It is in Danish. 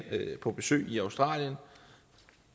på besøg i australien